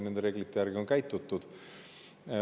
Nende reeglite järgi on käitutud.